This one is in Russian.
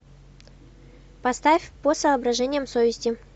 поставь по соображениям совести